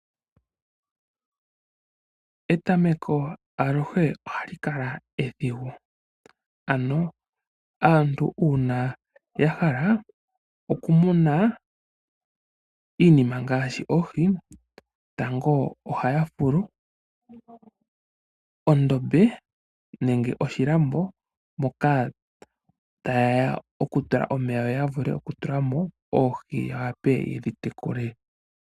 Etameko aluhe ohali kala edhigu. Uuna aantu yahala okumuna iinima ngaashi oohi, tango ohaya fulu oshilambo moka tayeya yatule omeya yoya vule oku tulamo oohi yawape yedhi tekule.